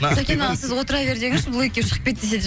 сәкен аға сіз отыра бер деңізші бұл екеуі шығып кет десе де